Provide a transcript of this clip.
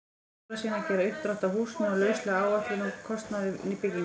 Ólafssyni að gera uppdrátt að húsinu og lauslega áætlun um kostnað við bygginguna.